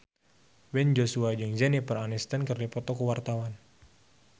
Ben Joshua jeung Jennifer Aniston keur dipoto ku wartawan